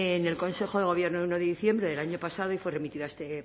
en el consejo de gobierno el uno de diciembre del año pasado y fue remitido a este